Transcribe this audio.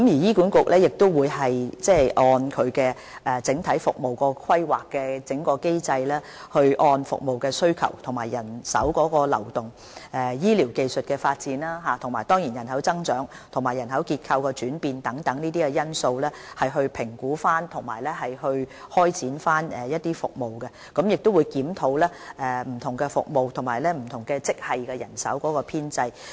醫管局會根據整體服務規劃機制，按服務需求、人手流動、醫療技術發展、人口增長和人口結構轉變等因素評估及開展服務，並會檢討不同服務及職系的人手編制。